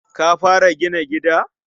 Ka fara gina gida?